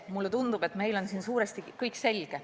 Mulle tundub, et meil on siin suuresti kõik selge.